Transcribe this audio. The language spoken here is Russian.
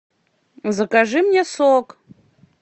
закажи мне сок